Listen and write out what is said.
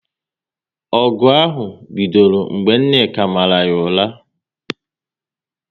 Ọgụ ahụ bidoro mgbe Nneka mara ya ụra